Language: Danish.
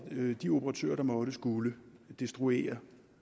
de operatører der måtte skulle destruere